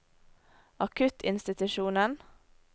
akuttinstitusjonen